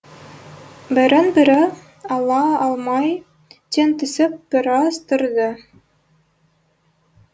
бірін бірі ала алмай тең түсіп біраз тұрды